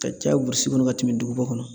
Ka caya burusi kɔnɔ ka tɛmɛ duguba kɔnɔ